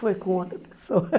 Foi com outra pessoa.